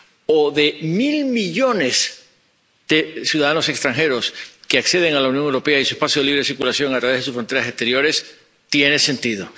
o de mil millones de ciudadanos extranjeros que acceden a la Unión Europea y a su espacio de libre circulación a través de sus fronteras exteriores, tiene sentido.